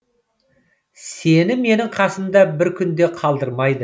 сені менің қасымда бір күн де қалдырмайды